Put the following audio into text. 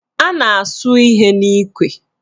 A na-asụ ihe n'ikwe